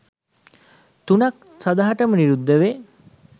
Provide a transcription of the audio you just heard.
තුනක් සදහටම නිරුද්ධ වේ.